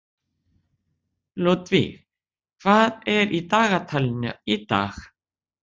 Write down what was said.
Ludvig, hvað er í dagatalinu í dag?